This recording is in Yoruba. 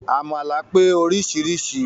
Àmàlà pé oríṣiríṣi